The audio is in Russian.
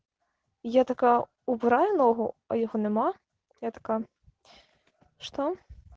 я такая убираю ногу а его нема я такая что